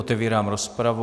Otevírám rozpravu.